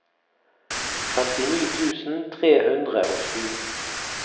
femtini tusen tre hundre og sju